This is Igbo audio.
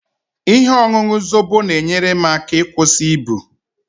Ihe ọṅụṅụ Zobo na-enyere m aka ịkwụsị ibu